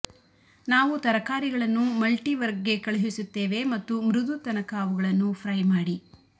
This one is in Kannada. ನಾವು ತರಕಾರಿಗಳನ್ನು ಮಲ್ಟಿವರ್ಕ್ಗೆ ಕಳುಹಿಸುತ್ತೇವೆ ಮತ್ತು ಮೃದು ತನಕ ಅವುಗಳನ್ನು ಫ್ರೈ ಮಾಡಿ